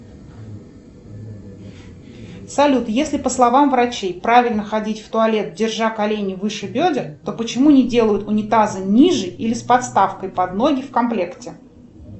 салют если по словам врачей правильно ходить в туалет держа колени выше бедер то почему не делают унитазы ниже или с подставкой под ноги в комплекте